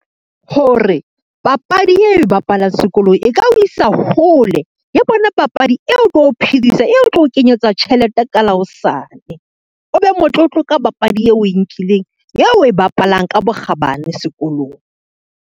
Ho re papadi yeo bapalang sekolong e ka o isa hole, ke yona papadi eo o tlo o phedisa, eo o tlo o kenyetsa tjhelete ka la hosane, o be motlotlo ka papadi eo o e nkileng eo o e bapalang ka bokgabane sekolong.